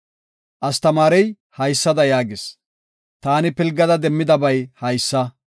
Astamaarey haysada yaagis; “Taani pilgada demmidabay haysa.